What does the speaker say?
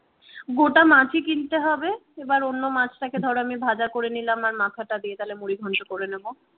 গোটা মাছ ই কিনতে হবে এবার অন্য মাছটাকে ধরো আমি ভাজা করে নিলাম আর মাথাটা দিয়ে তাহলে মুড়ি ঘন্ট করে নেব।